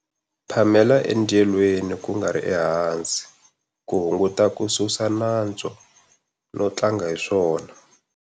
Phamela endyelweni, ku nga ri ehansi ku hunguta ku susa nantswo no tlanga hi swona.